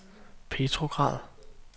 Petrograd